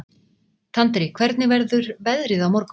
Tandri, hvernig verður veðrið á morgun?